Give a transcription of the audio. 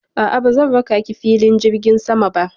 A'a, bazan raka ki filin jirgin sama ba.